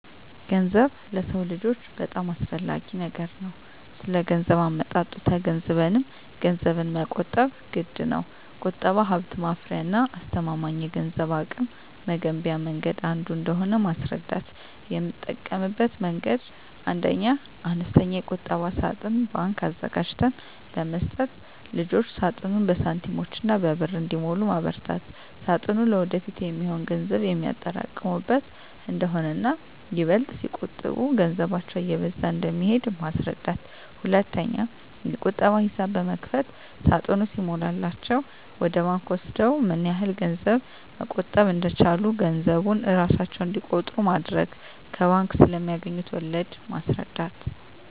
ገንዘብ ለሰው ልጆች በጣም አስፈላጊ ነገር ነው ስለገንዘብ አመጣጡ ተገንዝበንም ገንዘብን መቆጠብ ግድነው። ቁጠባ ሀብት ማፍሪያና አስተማማኝ የገንዘብ አቅም መገንቢያ መንገድ አንዱ እንደሆነ ማስረዳት: የምጠቀምበት መንገድ 1ኛ, አነስተኛ የቁጠባ ሳጥን (ባንክ) አዘጋጅተን በመስጠት ልጆች ሳጥኑን በሳንቲሞችና በብር እንዲሞሉ ማበርታት ሳጥኑ ለወደፊት የሚሆን ገንዘብ የሚያጠራቅሙበት እንደሆነና ይበልጥ ሲቆጥቡ ገንዘባቸው እየበዛ እንደሚሄድ ማስረዳት። 2ኛ, የቁጠባ ሂሳብ በመክፈት ሳጥኑ ሲሞላላቸው ወደ ባንክ ወስደው ምን ያህል ገንዘብ መቆጠብ እንደቻሉ ገንዘቡን እራሳቸው እንዲቆጥሩ ማድረግ። ከባንክ ስለማገኙት ወለድ ማስረዳት።